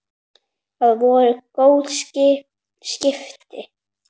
Það voru góð skipti.